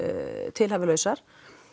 tilhæfulausar